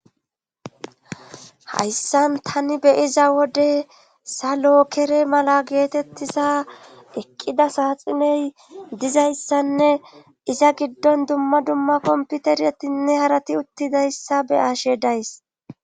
Hayssan tani beyiza wode salokere mala geetettiza eqqida saaxiney dizayssanne iza giddon dumma dumma komputeratinne harati uttidayssa be ashe days